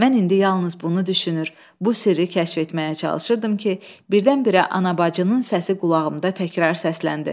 Mən indi yalnız bunu düşünür, bu sirri kəşf etməyə çalışırdım ki, birdən-birə anabacının səsi qulağımda təkrar səsləndi.